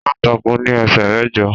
Aláǹtakùn ní ẹsẹ mẹ́jọ.